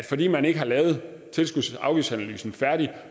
fordi man ikke har lavet tilskuds og afgiftsanalysen færdig